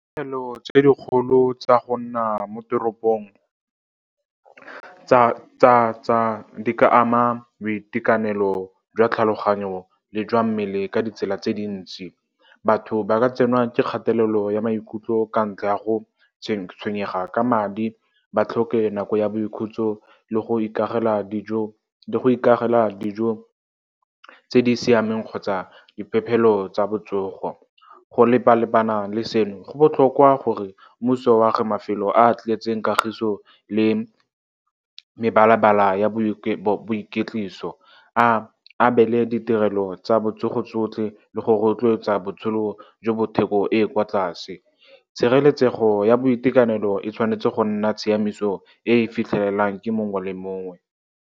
Ditshenyegelo tse dikgolo tsa go nna mo teropong di ka ama boitekanelo jwa tlhaloganyo le jwa mmele ka ditsela tse dintsi. Batho ba ka tsenwa ke kgatelelo ya maikutlo ka ntlha ya go tshwenyega ka madi, ba tlhoke nako ya boikhutso le go ikagela dijo tse di siameng kgotsa diphephelo tsa botsogo. Go lepa-lepana le seno, go botlhokwa gore mmuso o age mafelo a tletseng kagiso le mebala-bala ya boiketliso, a abele ditirelo tsa botsogo tsotlhe, le go rotloetsa botshelo jo bo theko e e kwa tlase. Tshireletsego ya boitekanelo e tshwanetse go nna tshiamiso e e fitlhelelang ke mongwe le mongwe.